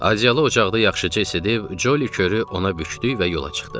Acıqlı ocaqda yaxşıca isinib, Ccoli körü ona bükdük və yola çıxdıq.